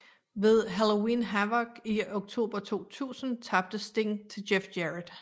Ved Halloween Havoc i oktober 2000 tabte Sting til Jeff Jarrett